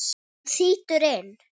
Hann þýtur inn.